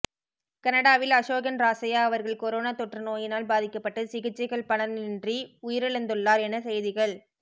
கனடாவில் அஷோகன் ராசையா அவர்கள் கொரோனா தாெற்று நோய்யினால் பாதிக்கப்பட்டு சிகிற்சைகள் பலனின்றி உயிரிழந்துள்ளார் என செய்திகள்